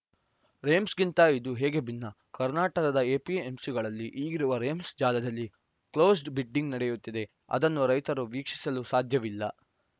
ರೆಮ್ಸ್‌ಗಿಂತ ಇದು ಹೇಗೆ ಭಿನ್ನ ಕರ್ನಾಟಕದ ಎಪಿಎಂಸಿಗಳಲ್ಲಿ ಈಗಿರುವ ರೆಮ್ಸ್‌ ಜಾಲದಲ್ಲಿ ಕ್ಲೋಸ್ಡ್‌ ಬಿಡ್ಡಿಂಗ್‌ ನಡೆಯುತ್ತಿದೆ ಅದನ್ನು ರೈತರು ವೀಕ್ಷಿಸಲು ಸಾಧ್ಯವಿಲ್ಲ